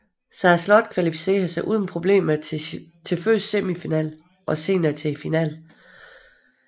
Sara Slott kvalificerede sig uden problemer til først semifinalen og senere finalen